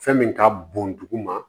Fɛn min ka bon duguma